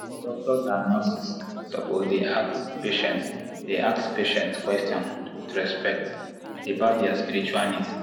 doctors and nurses suppose dey ask patients dey ask patients question with respect about their spiritual needs.